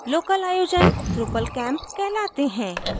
local आयोजन drupal camps कहलाते हैं